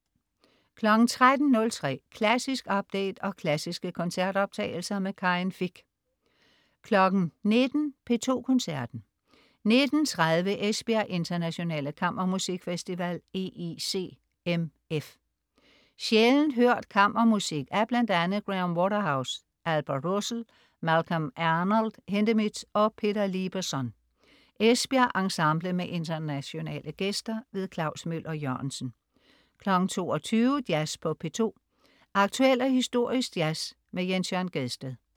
13.03 Klassisk update og klassiske koncertoptagelser. Karin Fich 19.00 P2 Koncerten. 19.30 Esbjerg Internationale Kammermusikfestival, EICMF. Sjældent hørt kammermusik af bl.a. Graham Waterhouse, Albert Roussel, Malcolm Arnold, Hindemith og Peter Lieberson. Esbjerg Ensemble med internationale gæster. Klaus Møller Jørgensen 22.00 Jazz på P2. Aktuel og historisk jazz. Jens Jørn Gjedsted